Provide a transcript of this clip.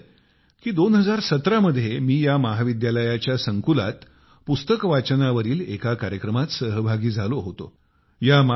मला आठवतंय कि 2017 मध्ये मी या महाविद्यालयाच्या संकुलात पुस्तक वाचनावरील एका कार्यक्रमात सहभागी झालो होतो